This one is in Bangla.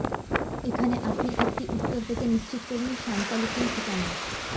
এখানে আপনি একটি উত্তর পেতে নিশ্চিত করুন সান্তা লিখুন ঠিকানা